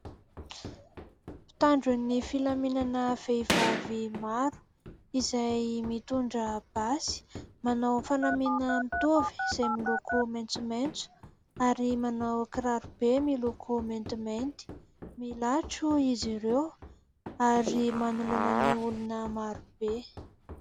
Mpitandro ny filaminana vehivavy maro izay mitondra basy, manao fanamiana mitovy izay miloko maitsomaitso ary manao kiraro be miloko maintimainty. Milatro izy ireo ary manoloana ny olona maro be.